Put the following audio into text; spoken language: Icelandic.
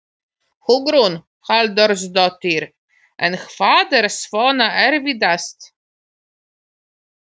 Hugrún Halldórsdóttir: En hvað er svona erfiðast?